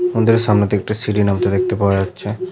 মন্দিরের সামনে একটি সিঁড়ি নামতে দেখতে পাওয়া যাচ্ছে।